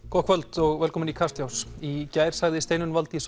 gott kvöld og velkomin í Kastljós í gær sagði Steinunn Valdís